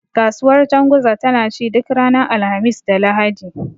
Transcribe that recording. Kasuwar janguza tana ci duk ranar Alhamis da Lahadi.